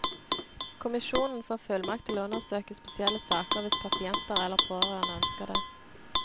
Kommisjonen får fullmakt til å undersøke spesielle saker hvis pasienter eller pårørende ønsker det.